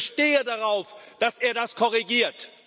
Ich bestehe darauf, dass er das korrigiert.